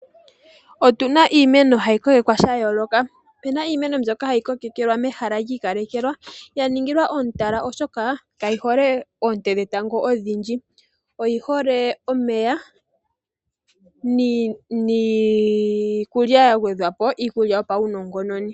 Otu na iimeno ha yi kokekwa sha yooloka. Opu na iimeno mbyoka ha yi kokekelwa mehala lyi ikalekelwa ya ningilwa omutala oshoka ka yi hole oonte dhetango odhindji. Oyi hole omeya niikulya ya gwedhwa po, iikulya yopaunongononi.